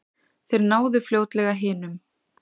Þeir náðu fljótlega hinum.